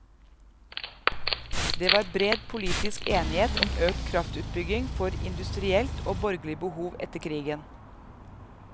Det var bred politisk enighet om økt kraftutbygging for industrielt og borgerlig behov etter krigen.